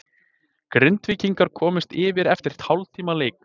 Grindvíkingar komust yfir eftir hálftíma leik.